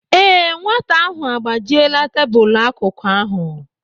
Ee, nwata ahụ a gbajiela tebụlụ akụkụ ahụ.